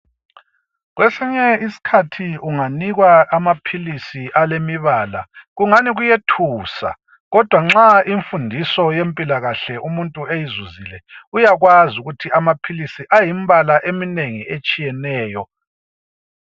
Kwesinye iskhathi unganikwa amaphilisi alemibala, kungani kuyethusa kodwa nxa imfundiso yempilakahle umuntu eyizuzile, uyakwaz' ukuthi amaphilisi ayimbala eminengi etshiyeneyo.